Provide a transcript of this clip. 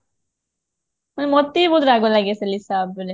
ମତେ ବି ବହୁତ ରାଗ ଲାଗେ ସେ ଲିସା ଉପରେ